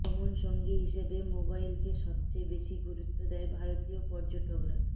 ভ্রমণসঙ্গী হিসেবে মোবাইলকেই সবচেয়ে বেশি গুরুত্ব দেয় ভারতীয় পর্যটকরা